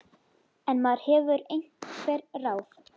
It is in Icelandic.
En maður hefur einhver ráð.